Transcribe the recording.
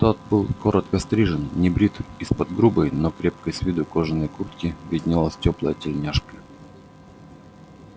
тот был коротко стрижен небрит из-под грубой но крепкой с виду кожаной куртки виднелась тёплая тельняшка